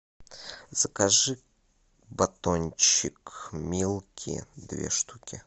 закажи батончик милки две штуки